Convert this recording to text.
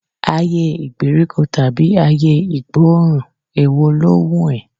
Ayé ìgbèríko tàbí ayé ìgbóòrùn, èwo ló wùn ẹ́?